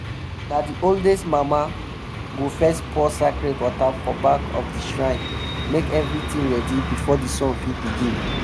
na the oldest mama go first pour sacred water for back of the shrine make everything ready before the song fit begin.